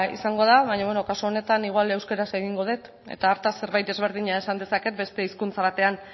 izango da baina beno kasu honetan igual euskaraz egingo dut eta hartaz zerbait ezberdina esan dezaket beste hizkuntza batean